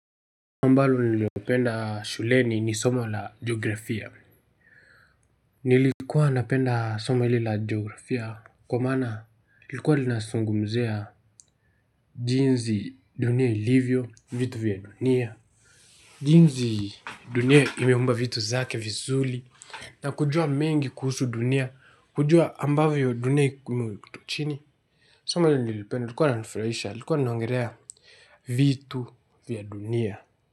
Ambalo nililopenda shuleni ni somo la geografia. Nilikuwa napenda somo hili la geografia kwa maana ilikuwa linazungumzia jinsi dunia ilivyo vitu vya dunia. Jinsi dunia imeumba vitu zake vizuri na kujua mengi kuhusu dunia kujua ambavyo dunia chini soma hili nilipenda lilikuwa linanfurahisha lilikuwa linaongelea vitu vya dunia.